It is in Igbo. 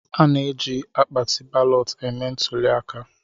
A na-eji akpatị balọtụ eme ntụlịaka